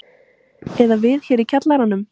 Eða við hér í kjallaranum.